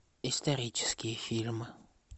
исторические фильмы